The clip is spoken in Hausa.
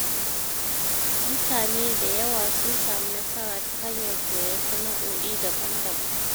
Mutane da yawa sun samu nasara ta hanyar koyan sana’o’i daban-daban.